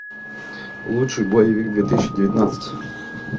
лучший боевик две тысячи девятнадцать